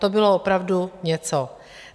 To bylo opravdu něco.